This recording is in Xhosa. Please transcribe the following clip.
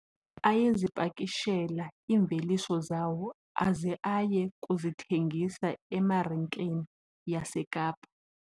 Ayezipakishela iimveliso zawo aze aye kuzithengisa emarikeni yaseKapa.